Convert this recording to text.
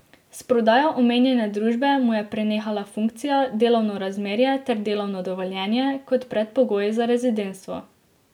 S prodajo omenjene družbe mu je prenehala funkcija, delovno razmerje ter delovno dovoljenje, kot predpogoj za rezidentstvo.